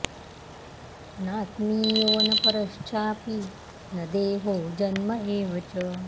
नात्मीयो न परश्चापि न देहो जन्म एव च